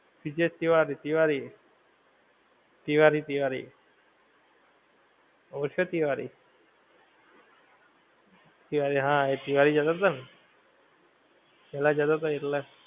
બીજે તિવારી તિવારી એ તિવારી તિવારી ઓ છે તિવારી તિવારી હા એ તિવારી જતો થો ને પેહલા જતો થો એટલા